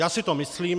Já si to myslím.